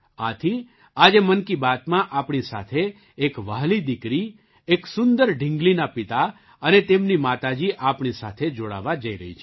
આથી આજે મન કી બાતમાં આપણી સાથે એક વહાલી દીકરી એક સુંદર ઢીંગલીના પિતા અને તેમની માતાજી આપણી સાથે જોડાવા જઈ રહી છે